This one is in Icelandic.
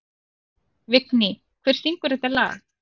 Vigný, hver syngur þetta lag?